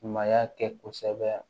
Ɲumanya kɛ kosɛbɛ